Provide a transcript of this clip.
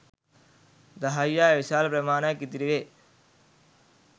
දහයියා විශාල ප්‍රමාණයක් ඉතිරි වේ.